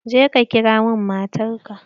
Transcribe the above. Je ka ƙira min matar ka!